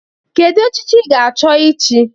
Kedu echichi ị ga-achọ ịchị?